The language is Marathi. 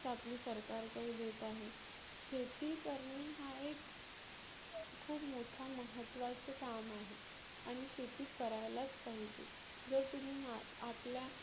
आपली सरकार काही देत आहे. शेती करणे हा एक खुप मोठा महत्वाचे काम आहे. आणि शेती करायलाच पाहीजे. जर तुम्ही मा आपल्या